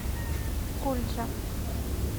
кульджа